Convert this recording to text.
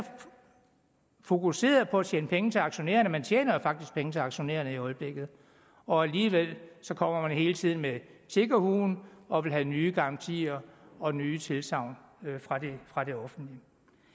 fokuseret på at tjene penge til aktionærerne og man tjener faktisk penge til aktionærerne i øjeblikket og alligevel kommer man hele tiden med tiggerhuen og vil have nye garantier og nye tilsagn fra det offentlige